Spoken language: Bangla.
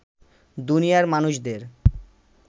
দুনিয়ার মানুষদের